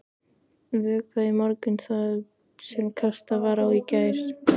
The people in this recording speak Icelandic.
Vökvað í morgun það sem kastað var á í gær.